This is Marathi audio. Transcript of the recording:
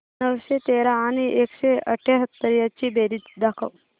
नऊशे तेरा आणि एकशे अठयाहत्तर यांची बेरीज दाखव